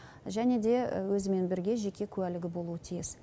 және де өзімен бірге жеке куәлігі болуы тиіс